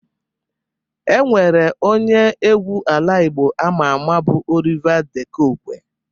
E nwere onye egwu ala Igbo ama ama bụ Oliva De Kokwe